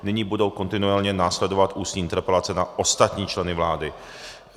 Nyní budou kontinuálně následovat ústní interpelace na ostatní členy vlády.